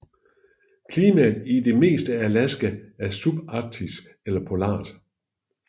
Klimaet i det meste af Alaska er subarktisk eller polart